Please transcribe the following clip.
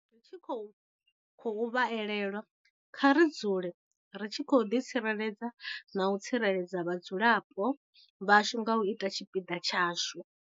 Ri tshi khou vha elelwa, kha ri dzule ri tshi ḓitsireledza na u tsireledza vhadzulapo vhashu nga u ita tshipiḓa tshashu.